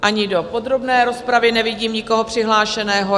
Ani do podrobné rozpravy nevidím nikoho přihlášeného.